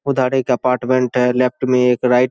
उधर एक अपार्टमेंट हैं लेफ्ट में एक राइट --